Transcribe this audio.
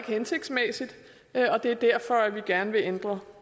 hensigtsmæssigt og det er derfor vi gerne vil ændre